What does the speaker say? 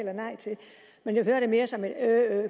men jeg hørte det mere som et øh øh